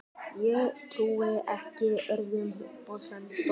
Ég trúi ekki öðru, fussaði Tóti.